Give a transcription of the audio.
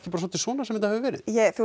svolítið svona sem þetta hefur verið